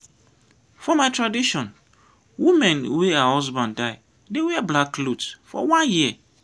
for my tradition woman wey her husband die dey wear black clot for one year.